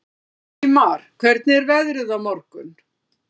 Ingimar, hvernig er veðrið á morgun?